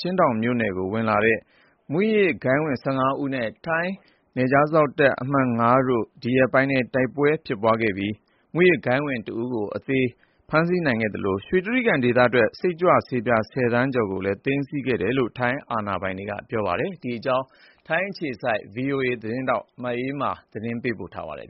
ချင်းဒေါင်မြို့နယ်အတွင်း ဝင်ရောက်လာတဲ့ မူးယစ်ဂိုဏ်းဝင် ၁၅ ဦးခန့်နဲ့ ထိုင်းအမှတ် ၅ နယ်ခြားစောင့်တပ်ရင်းတို့ ဒီရက်ပိုင်းမှာ တိုက်ပွဲဖြစ်ပွားခဲ့ပြီး မူးယစ်ဂိုဏ်းဝင်တဦး အသေဖမ်းမိသလို ရွှေတြိဂံဒေသထွက် စိတ်ကြွဆေးပြား ၁၀ သန်းကျော်လောက် ဖမ်းမိခဲ့တယ်လို့ ထိုင်းအာဏာပိုင်တွေက ပြောပါတယ်။ အပြည့်အစုံကို မအေးအေးမာ တင်ပြပေးထားပါတယ်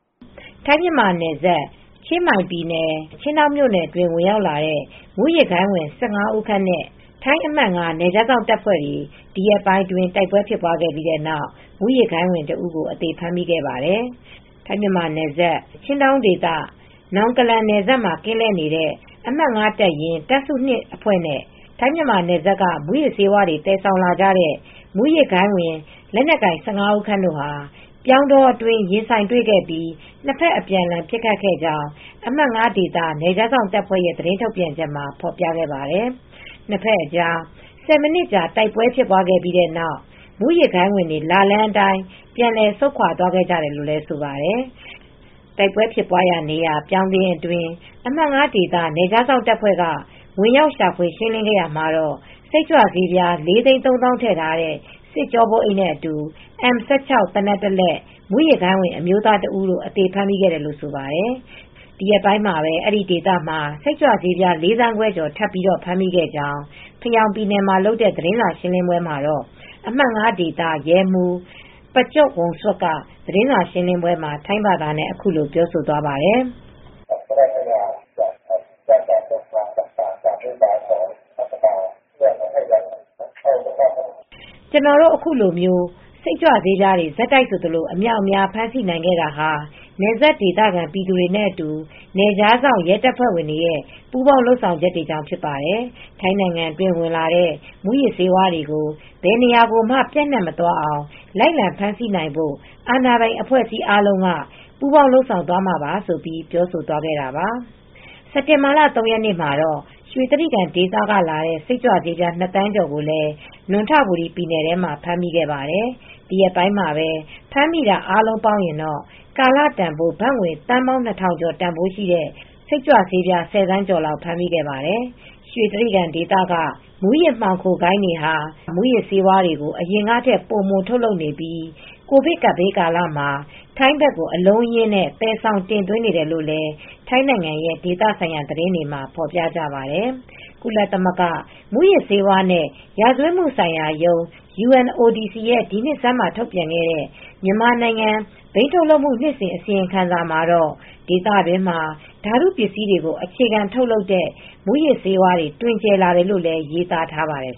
။ ထိုင်း-မြန်မာနယ်စပ် ချင်းမိုင်ပြည်နယ် ချင်းဒေါင်မြို့နယ်အတွင်း ဝင်ရောက်လာတဲ့ မူးယစ်ဂိုဏ်းဝင် ၁၅ ဦးခန့်နဲ့ ထိုင်းအမှတ် ၅ နယ်ခြားစောင့်တပ်ဖွဲ့တို့ ဒီရက်ပိုင်းမှာ တိုက်ပွဲတွေ ဖြစ်ပွားခဲ့ပြီးနောက် မူယစ်ဂိုဏ်းဝင်တဦးကို အသေဖမ်းမိခဲ့ပါတယ်။ ထိုင်း-မြန်မာနယ်စပ် ချင်းဒေါင်ဒေသ Nong Kalang နယ်စပ်မှာ ကင်းလှည့်နေတဲ့ အမှတ် ၅ တပ်ရင်း တပ်စု ၂ အဖွဲ့နဲ့ ထိုင်း-မြန်မာနယ်စပ်က မူးယစ်ဆေးတွေ သယ်ဆောင်လာကြတဲ့ မူးယစ်ဂိုဏ်း လက်နက်ကိုင် ၁၅ ဦးခန့်တို့ဟာ ပြောင်းတောအတွင်း ရင်ဆိုင်တွေ့ခဲ့ပြီး နှစ်ဖက် အပြန်အလှန် ပစ်ခတ်ခဲ့ကြောင်း အမှတ် ၅ ဒေသ နယ်ခြားစောင့်တပ်ဖွဲ့ရဲ့ သတင်းထုတ်ပြန်ချက်မှာ ဖော်ပြခဲ့ပါတယ်။ နှစ်ဖက်အကြား ၁၀ မိနစ်ကြာ တိုက်ပွဲဖြစ်ပွားခဲ့ပြီးတဲ့နောက်တော့ မူးယစ်ဂိုဏ်းဝင်တွေ လာလမ်းအတိုင်း ပြန်လည်ဆုတ်ခွာသွားခဲ့ကြတယ်လို့ ဆိုပါတယ်။ တိုက်ပွဲဖြစ်ပွားရာနေရာ ပြောင်းခင်းအတွင်း အမှတ် ၅ ဒေသ နယ်ခြားစောင့်တပ်ဖွဲ့က ဝင်ရောက်ရှာဖွေ ရှင်းလင်းခဲ့ရာမှာတော့ စိတ်ကြွဆေးပြား ၄၃၀,၀၀၀ ထည့်ထားတဲ့ စစ်ကျောပိုးအိတ်နဲ့အတူ အမ် ၁၆ သေနတ်တလက်၊ မူးယစ်ဂိုဏ်းဝင် အမျိုးသားတဦးကို အသေဖမ်းမိခဲ့တယ်လို့ ဆိုပါတယ်။ ဒီရက်ပိုင်း အဲဒီဒေသမှာ စိတ်ကြွဆေးပြား ၄ သန်းခွဲကျော် ထပ်ပြီး ဖမ်းမိခဲ့ကြောင်း ဖယောင်ပြည်နယ်ထဲမှာလုပ်တဲ့ သတင်းစာရှင်းလင်းပွဲမှာတော့ အမှတ် ၅ ဒေသ ရဲမှူး ပကျော့ဝန်စွတ်က သတင်းစာရှင်းလင်းပွဲမှာ ထိုင်းဘာသာနဲ့ အခုလိုပြောသွားပါတယ်။ “ကျနော်တို့ ခုလို စိတ်ကြွဆေးတွေ ဆက်တိုက်ဆိုသလို အမြောက်အမြား ဖမ်းမိနိုင်ခဲ့တာဟာ နယ်စပ်ဒေသခံ ပြည်သူတွေနဲ့အတူ နယ်ခြားစောင့် ရဲတပ်ဖွဲ့ဝင်တွေ ပူးပေါင်းလုပ်ဆောင်ချက်ကြောင့် ဖြစ်ပါတယ်။ ထိုင်းနိုင်ငံအတွင်း ဝင်လာတဲ့ မူးယစ်ဆေးဝါးတွေကို ဘယ်နေရာကိုမှ ပျံ့နှံ့မသွားအောင် လိုက်လံဖမ်းဆီးနိုင်ဖို့ အာဏာပိုင်အဖွဲ့အစည်းအားလုံး ပူးပေါင်း လုပ်ဆောင်သွားမှာပါ။” ဆိုပြီး ပြောဆိုသွားပါတယ်။ စက်တင်ဘာလ ၃ ရက်နေ့မှာတော့ ရွှေတြိဂံဒေသကလာတဲ့ စိတ်ကြွဆေးပြား ၂ သန်းကျော်ကိုလည်း နံွံထဘူရီပြည်နယ်ထဲမှာ ဖမ်းမိခဲ့ပါတယ်။ ဒီရက်ပိုင်းမှာ ဖမ်းမိတာ အားလုံးပေါင်းရင်တော့ ကာလတန်ဖိုး ဘတ်သန်း ၂,၀၀၀ ကျော်တန်ဖိုးရှိတဲ့ စိတ်ကြွဆေးပြား ၁၀ သန်းကျော်လောက် ဖမ်းမိခဲ့ပါတယ်။ ရွှေတြိဂံဒေသက မူးယစ်မှောင်ဂိုဏ်းတွေဟာ မူးယစ်ဆေးတွေကို အရင်ကထက် ပိုထုတ်လုပ်နေပြီး ကိုဗစ်ကပ်ဘေးကာလမှာ ထိုင်းဘက်ကို အလုံးအရင်း သယ်ဆောင်တင်သွင်းနေတယ်လို့လည်း ထိုင်းနိုင်ငံရဲ့ ဒေသဆိုင်ရာ သတင်းတွေမှာ ဖော်ပြကြပါတယ်။ ကုလသမဂ္ဂ မူးယစ်ဆေးဝါးနဲ့ ရာဇဝတ်မှုဆိုင်ရာရုံး (UNODC) ရဲ့ ဒီနှစ်ဆန်းမှာ ထုတ်ပြန်တဲ့ မြန်မာနိုင်ငံ ဘိန်းထုတ်လုပ်မှု နှစ်စဉ် အစီရင်ခံစာမှာတော့ ဒေသတွင်းမှာ ဓာတုပစ္စည်းတွေကို အခြေခံထုတ်လုပ်တဲ့ မူးယစ်ဆေးဝါးတွေ တွင်ကျယ်လာတယ်လို့လည်း ရေးသားထားပါတယ်